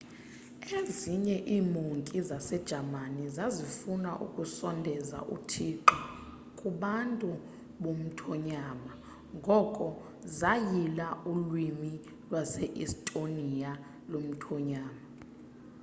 ezinye iimonki zasejamani zazifuna ukusondeza uthixo kubantu bomthonyama ngoko zayila ulwimi lwase-estonia lomthonyama